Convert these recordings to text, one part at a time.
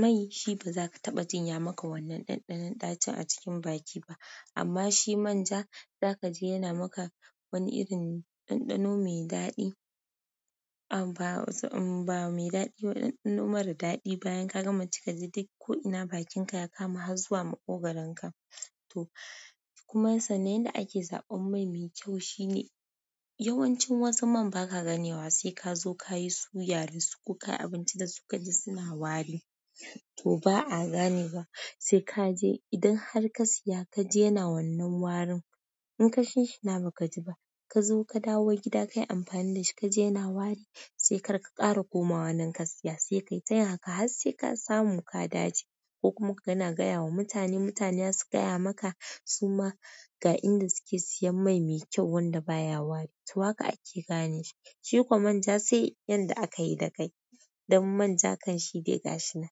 Mai shi ba za ka taɓa jin ya maka wannan ɗanɗanon ɗacin a cikin baki ba. Amma shi manja za ka ji yana maka wani irin ɗanɗano mai daɗi, ah ba, ba mai daɗi ba ɗanɗano mara daɗi. Bayan ka gama ci kaji duk ko ina bakin ka ya kama har zuwa maƙo goron ka to kuma sannan yanda ake zaɓan mai me kyau shine, yawancin wasu man ba ka ganewa sai ka zo ka yi suya da su ko ka yi abinci da su ka ji suna wari. To ba a ganewa. Sai ka je idan har ka siya ka ji yana wannan warin, in ka shin shina ba ka ji ba, ka zo ka dawo gida ka yi amfani da shi ka ji yana wari, sai kar ka ƙara komawa nan ka siya. Sai ka yi tayin haka har sai ka samu ka dace. Ko kuma kana gaya wa mutane, mutane su gaya maka su ma ga inda suke siyan mai mai kyau wanda baya wari. To haka ake gane shi. Shi ko manja sai yanda aka yi da kai. Dan manja kan shi dai gashinan.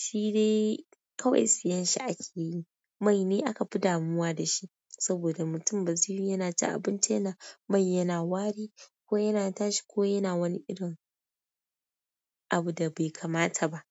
Shi dai kawai siyan shi ake yi. Mai ne aka fi damuwa da shi. Saboda mutum ba zai yiwu yana cin abinci yana, mai yana wari, ko yana tashi, ko yana wani irin abu da bai kamata ba.